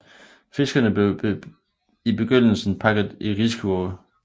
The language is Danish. Fiskene blev i begyndelsen pakket i riskurve